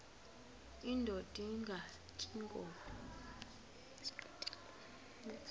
indod ingaty iinkobe